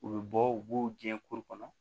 U bɛ bɔ u b'u jiyɛn kuru kɔnɔ